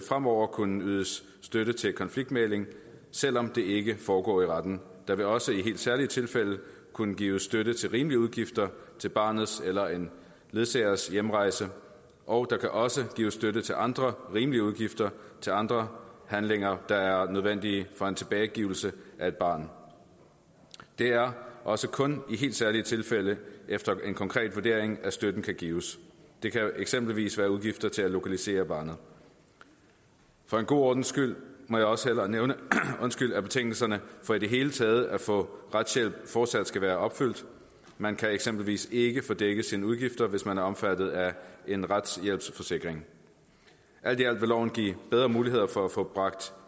fremover kunne ydes støtte til konfliktmægling selv om det ikke foregår i retten der vil også i helt særlige tilfælde kunne gives støtte til rimelige udgifter til barnets eller en ledsagers hjemrejse og der kan også gives støtte til andre rimelige udgifter til andre handlinger der er nødvendige for en tilbagegivelse af et barn det er også kun i helt særlige tilfælde og efter en konkret vurdering at støtten kan gives det kan eksempelvis være udgifter til at lokalisere barnet for en god ordens skyld må jeg også hellere nævne at betingelserne for i det hele taget at få retshjælp fortsat skal være opfyldt man kan eksempelvis ikke få dækket sine udgifter hvis man er omfattet af en retshjælpsforsikring alt i alt vil lovforslaget give bedre muligheder for at få bragt